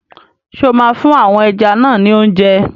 Ṣé o máa fún àwọn ẹja náà ni óúnjẹ?